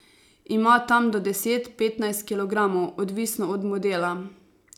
Ima tam do deset, petnajst kilogramov, odvisno od modela.